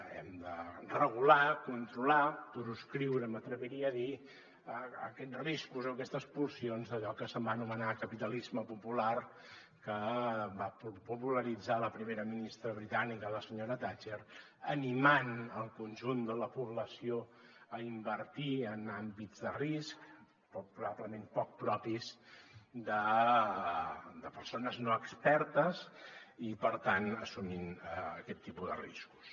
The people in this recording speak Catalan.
hem de regular controlar proscriure m’atreviria a dir aquests riscos o aquestes pulsions d’allò que es va anomenar capitalisme popular que va popularitzar la primera ministra britànica la senyora thatcher animant el conjunt de la població a invertir en àmbits de risc probablement poc propis de persones no expertes i per tant assumint aquest tipus de riscos